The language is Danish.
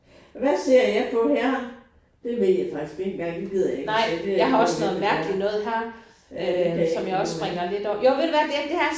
Hvad ser jeg på her? Det ved jeg faktisk ikke engang den gider jeg ikke at tage det er noget underligt noget øh det kan jeg ikke finde ud af